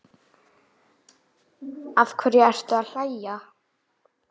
Af hverju ertu að hlæja?